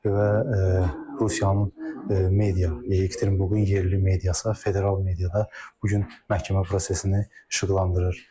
və Rusiyanın media, Yekaterinburqun yerli mediası, federal mediada bu gün məhkəmə prosesini işıqlandırır.